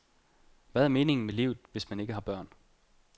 Hvad er meningen med livet, hvis man ikke har børn?